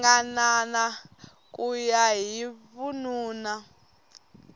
ringanana ku ya hi vununa